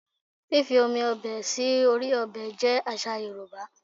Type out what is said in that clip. Fífi omi ọbẹ̀ sí orí ọbẹ̀ jẹ́ àṣà Yorùbá